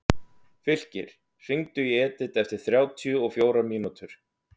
Fylkir, hringdu í Edith eftir þrjátíu og fjórar mínútur.